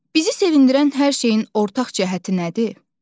Bizi sevindirən hər şeyin ortaq cəhəti nədir?